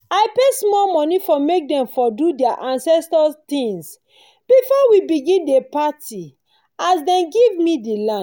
i pay small moni for make dem for do their ancestor things before we begin dey party as dem giv me the land